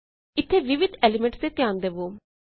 ਇੱਥੇ ਵਿਵਿਧ ਐਲੀਮੇੰਟਸ ਤੇ ਧਿਆਨ ਦਵੋ